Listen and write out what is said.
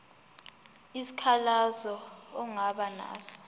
isikhalazo ongaba naso